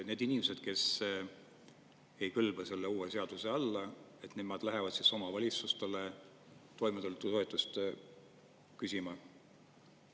Need inimesed, kes ei kõlba selle uue seaduse alla, nemad lähevad siis omavalitsusest toimetuleku toetust küsima.